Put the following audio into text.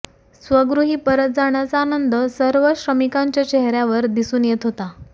स्वगृही परत जाण्याचा आनंद सर्व श्रमिकांच्या चेहऱ्यावर दिसून येत होता